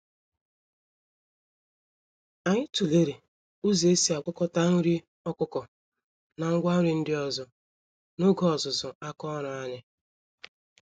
Anyị tụlere ụzọ esi agwakọta nri ọkụkọ na ngwa nri ndị ọzọ, n'oge ọzụzụ àkà ọrụ anyị.